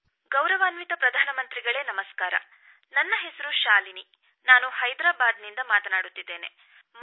ಗೌರವಯುತ ಪ್ರಧಾನ ಮಂತ್ರಿಗಳೇ ನಮಸ್ಕಾರ ನನ್ನ ಹೆಸರು ಶಾಲಿನಿ ನಾನು ಹೈದರಾಬಾದ್ ನಿಂದ ಮಾತನಾಡುತ್ತಿದ್ದೇನೆ